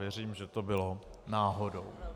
Věřím, že to bylo náhodou.